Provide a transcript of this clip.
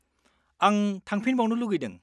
-आं थांफिनबावनो लुगैदों।